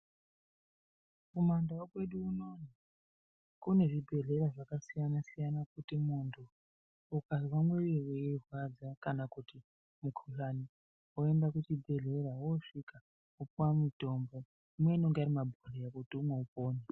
Kumandau kwedu unono kune zvibhehlera zvakasiyana siyana kuti muntu ukanzwa muviri weirwadza kana mukuhlani woenda kuchibhehleya wosvika wopuwa mutombo imweni inenge iri mumabhehleya kuti umwe upone.